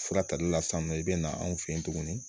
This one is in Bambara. Fura tali la sisan nin nɔ i bɛ na anw fɛ yen tuguni